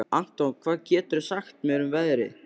Anton, hvað geturðu sagt mér um veðrið?